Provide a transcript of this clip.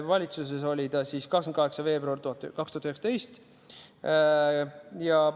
Valitsuses on see 28. veebruaril 2019.